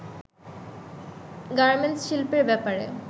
garments শিল্পের ব্যাপারে